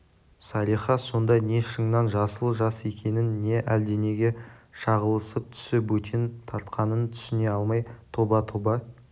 салиха сонда не шыңнан жасыл жас екенін не әлденеге шағылысып түсі бөтен тартқанын түсіне алмай тоба тоба